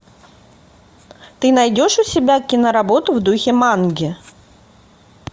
ты найдешь у себя киноработу в духе манги